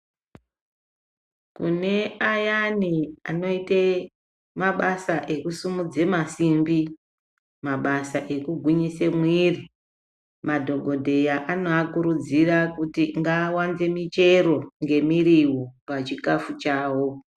Kune ayani anoite mabasa ekusimudze masimbi mabasa ekugwinyise mwiri madhokodheya anoakurudzira kuti ngaawanze michero ngemiriwo pachikafu chawo.